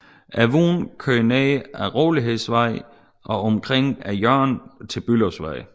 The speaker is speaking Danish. Vognen kørte ned ad Rolighedsvej og omkring hjørnet til Bülowsvej